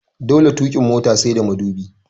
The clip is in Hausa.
Dole tukin mota sai da mudubi